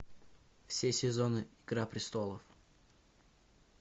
все сезоны игра престолов